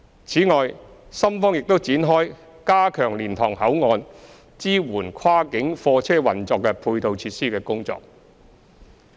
此外，深方亦已展開加強蓮塘口岸支援跨境貨車運作的配套設施的工作。